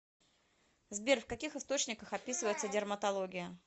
сбер в каких источниках описывается дерматология